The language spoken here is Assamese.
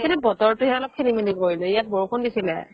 কিন্তু বতৰতো হে অলপ খেলি মেলি কৰিলে ইয়াত বৰষুণ দিছিলে